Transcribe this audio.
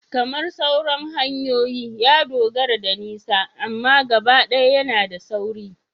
Kamar sauran hanyoyin, ya dogara da nisa amma gabaɗaya yana da sauri